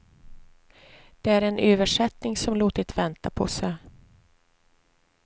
Det är en översättning som låtit vänta på sig.